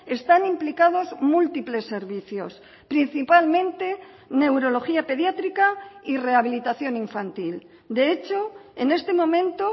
están implicados múltiples servicios principalmente neurología pediátrica y rehabilitación infantil de hecho en este momento